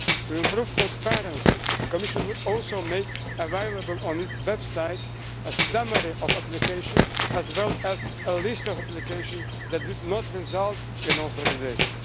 To improve transparency, the Commission would also make available on its website a summary of applications, as well as a list of applications that did not result in authorisation.